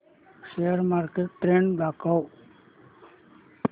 share market trend दाखव